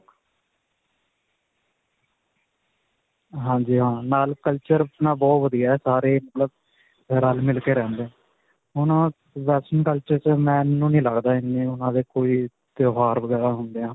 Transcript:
ਹਾਂਜੀ ਹਾਂ. ਨਾਲ culture ਆਪਣਾ ਬਹੁਤ ਵਧੀਆ ਹੈ. ਸਾਰੇ ਮਤਲਬ ਰਲ-ਮਿਲ ਕੇ ਰਹਿੰਦੇ ਹੁਣ ਓਹ western culture 'ਚ ਮੈਨੂੰ ਨਹੀਂ ਲੱਗਦਾ ਇੰਨੀ ਉਨ੍ਹਾਂ ਦੇ ਕੋਈ ਤਿਉਹਾਰ ਵਗੈਰਾ ਹੁੰਦੇ ਹੈ.